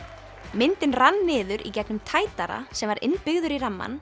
myndin rann niður í gegnum tætara sem var innbyggður í rammann